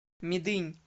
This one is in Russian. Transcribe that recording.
медынь